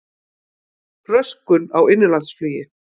Röskun á innanlandsflugi